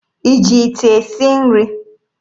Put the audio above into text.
Ị ji ite esi nri?